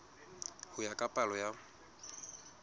ho ya ka palo ya